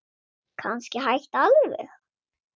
Kannski hætta alveg.